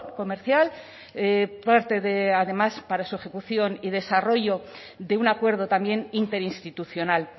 comercial parte de además para su ejecución y desarrollo de un acuerdo también interinstitucional